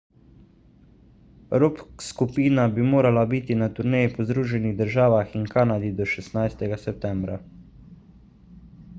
rock skupina bi morala biti na turneji po združenih državah in kanadi do 16 septembra